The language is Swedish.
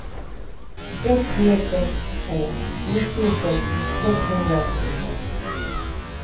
ett tre sex två nittiosex sexhundraåttiosex